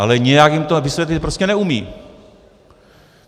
Ale nějak jim to vysvětlit prostě neumí.